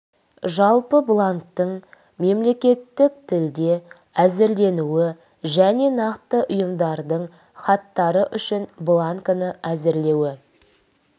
жалпы бланктің мемлекеттік тілде әзірленуі және нақты ұйымдардың хаттары үшін бланкіні әзірлеуі